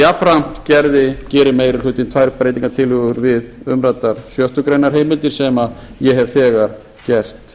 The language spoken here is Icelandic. jafnframt gerir meiri hlutinn þær breytingartillögur við umræddar sjöttu grein heimildir sem ég hef þegar gert